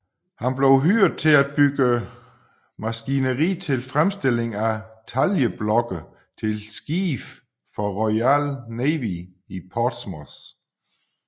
Han blev hyret til at bygge maskineri til fremstilling af taljeblokke til skibe for Royal Navy i Portsmouth